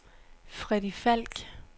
Freddy Falk